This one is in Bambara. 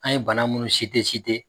An ye bana munnu